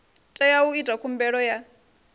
tea u ita khumbelo ya